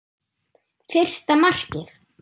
Fyrsta markið?